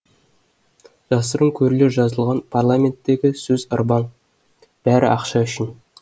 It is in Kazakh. жасырын көрлер жазылған парламенттегі сөз ырбаң бәрі ақша үшін